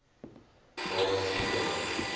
daar is geen